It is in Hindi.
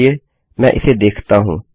चलिए मैं इसे देखता हूँ